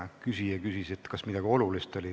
Küsija küsis, kas oli veel midagi olulist.